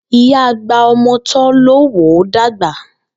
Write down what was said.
Ìyá agba-ọmọ-tọ́ ló wò ó dàgba.